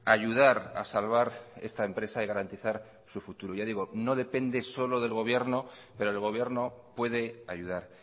ayudar a salvar esta empresa y garantizar su futuro ya digo no depende solo del gobierno pero el gobierno puede ayudar